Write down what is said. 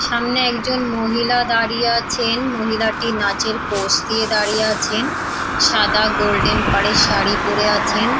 সামনে একজন মহিলা দাঁড়িয়ে আছেন মহিলাটি নাচের পোস দিয়ে দাঁড়িয়ে আছেন সাদা গোল্ডেন পারের শাড়ি পরে আছেন ।